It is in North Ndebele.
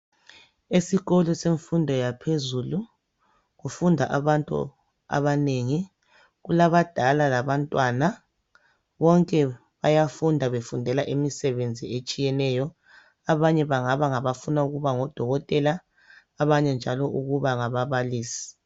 Esikolo semfundo yaphezulu kufunda abantu abanengi kulabadala labantwana bonke bayafunda befundela imisebenzi etshiyeneyo, abanye bangaba ngabafuna ukuba ngodokotela abanye njalo ukuba ngababalisi.